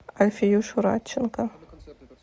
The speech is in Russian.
альфиюшу радченко